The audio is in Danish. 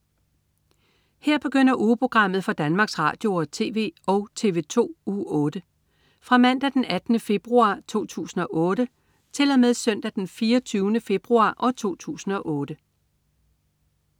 Her begynder ugeprogrammet for Danmarks Radio- og TV og TV2 Uge 8 Fra Mandag den 18. februar 2008 Til Søndag den 24. februar 2008